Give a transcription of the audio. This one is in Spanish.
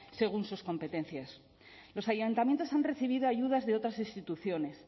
según sus competencias los ayuntamientos han recibido ayudas de otras instituciones